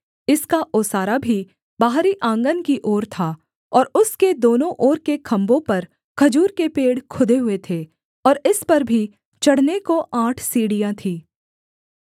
इसका ओसारा भी बाहरी आँगन की ओर था और उसके दोनों ओर के खम्भों पर खजूर के पेड़ खुदे हुए थे और इस पर भी चढ़ने को आठ सीढ़ियाँ थीं